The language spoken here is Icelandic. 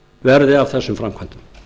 verði af þessum framkvæmdum